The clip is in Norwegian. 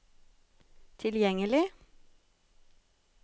tilgjengelig